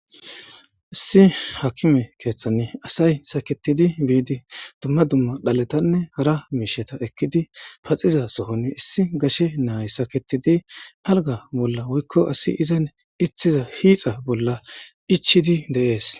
Issi hakime keeththani asay saketidi biidi dumma dumma dhaletanne hara miisheta ekkidi paxiza sohon issi gashe naay saketidi alga bolla woykko asi izan itthiza hiixa bolla ichidi deees.